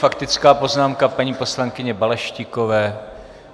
Faktická poznámka paní poslankyně Balaštíkové.